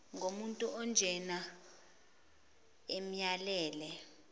nomuntu onjena amyalele